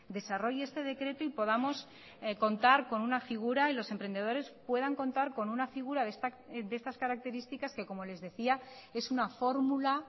desarrolle este decreto y podamos contar con una figura y los emprendedores puedan contar con una figura de estas características que como les decía es una fórmula